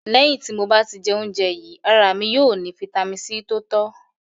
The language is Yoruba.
Lẹ̀hin ti mo bá tì jẹ̀ ọ̀unjè yìí, ara mi yóò ni fítamì C tó tọ̀